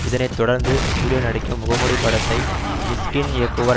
இதனைத்தொடர்ந்து சூர்யா நடிக்கும் முகமூடி படத்தை மிஷ்கின் இயக்குவார்